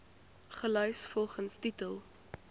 gelys volgens titel